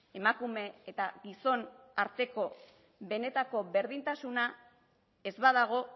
emakume eta gizon arteko benetako berdintasuna ez badago